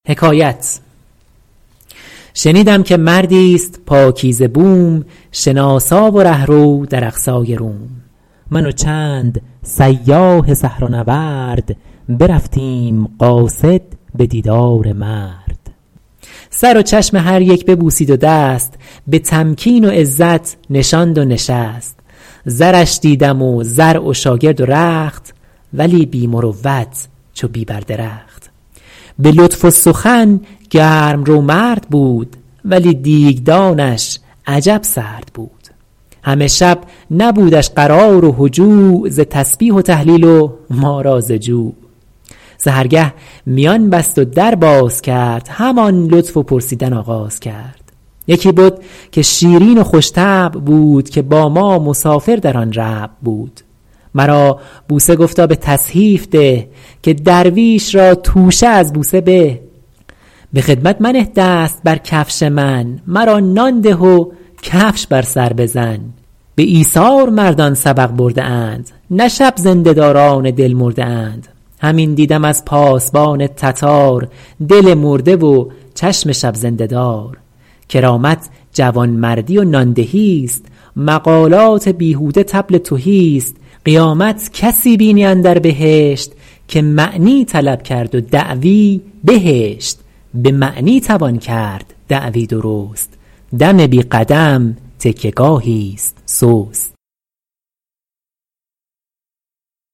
شنیدم که مردی است پاکیزه بوم شناسا و رهرو در اقصای روم من و چند سیاح صحرانورد برفتیم قاصد به دیدار مرد سر و چشم هر یک ببوسید و دست به تمکین و عزت نشاند و نشست زرش دیدم و زرع و شاگرد و رخت ولی بی مروت چو بی بر درخت به لطف و سخن گرم رو مرد بود ولی دیگدانش عجب سرد بود همه شب نبودش قرار و هجوع ز تسبیح و تهلیل و ما را ز جوع سحرگه میان بست و در باز کرد همان لطف و پرسیدن آغاز کرد یکی بد که شیرین و خوش طبع بود که با ما مسافر در آن ربع بود مرا بوسه گفتا به تصحیف ده که درویش را توشه از بوسه به به خدمت منه دست بر کفش من مرا نان ده و کفش بر سر بزن به ایثار مردان سبق برده اند نه شب زنده داران دل مرده اند همین دیدم از پاسبان تتار دل مرده و چشم شب زنده دار کرامت جوانمردی و نان دهی است مقالات بیهوده طبل تهی است قیامت کسی بینی اندر بهشت که معنی طلب کرد و دعوی بهشت به معنی توان کرد دعوی درست دم بی قدم تکیه گاهی است سست